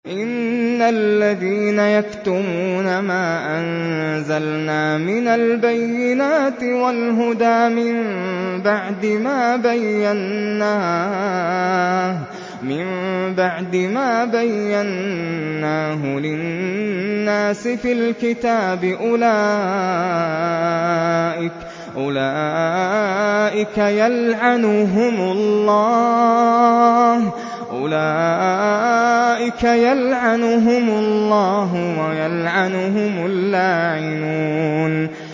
إِنَّ الَّذِينَ يَكْتُمُونَ مَا أَنزَلْنَا مِنَ الْبَيِّنَاتِ وَالْهُدَىٰ مِن بَعْدِ مَا بَيَّنَّاهُ لِلنَّاسِ فِي الْكِتَابِ ۙ أُولَٰئِكَ يَلْعَنُهُمُ اللَّهُ وَيَلْعَنُهُمُ اللَّاعِنُونَ